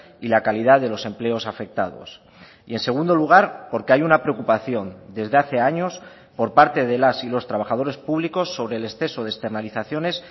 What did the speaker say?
y la calidad de los empleos afectados y en segundo lugar porque hay una preocupación desde hace años por parte de las y los trabajadores públicos sobre el exceso de externalizaciones